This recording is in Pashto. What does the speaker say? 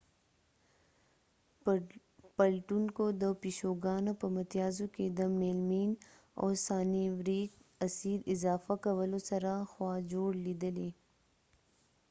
پلټونکو د پيشوګانو په متيازو کي د میلمین او سانیوریک اسید اضافه کولو سره خوا جوړ لیدلې